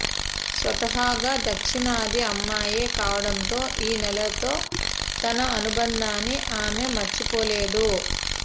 స్వతహాగా దక్షిణాది అమ్మాయే కావడంతో ఈ నేలతో తన అనుబంధాన్ని ఆమె మరిచిపోలేదు